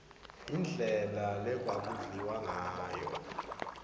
indlela lekwaku dliwangayo